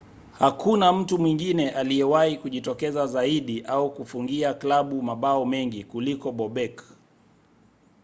hakuna mtu mwingine aliyewahi kujitokeza zaidi au kufungia klabu mabao mengi kuliko bobek